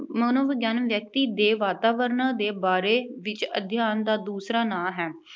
ਮਨੋਵਿਗਿਆਨ ਵਿਅਕਤੀ ਦੇ ਵਾਤਾਵਰਣ ਦੇ ਬਾਰੇ ਵਿੱਚ ਅਧਿਆਨ ਦਾ ਦੂਸਰਾ ਨਾਂਅ ਹੈ।